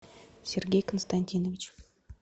сергей константинович